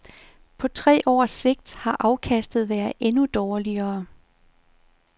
På tre års sigt har afkastet været endnu dårligere.